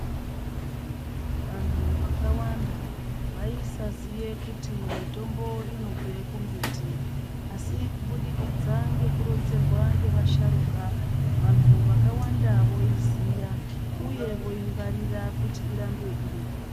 Vanthu vakawanda vaisaziye kuti mitombo inobve kumbiti, asi kubudikidza ngekuronzerwa ngevasharuka vanhu vakawanda voiziya uye voingwarira kuti irambe iripo.